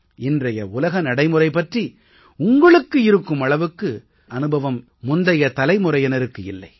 இன்றைய உலக நடைமுறை பற்றி உங்களுக்கு இருக்கும் அளவுக்கு முந்தைய தலைமுறையினருக்கு இல்லை